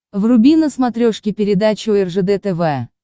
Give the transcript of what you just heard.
вруби на смотрешке передачу ржд тв